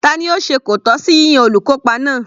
Tani ó se kòtọ́ sí yíyan olùkópa náà?